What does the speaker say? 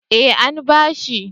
Eh an bashi